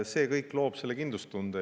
See kõik loob kindlustunde.